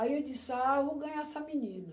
Aí eu disse, ah, eu vou ganhar essa menina.